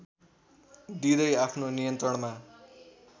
दिँदै आफ्नो नियन्त्रणमा